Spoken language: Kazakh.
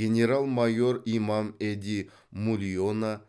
генерал майор имам эди мулионо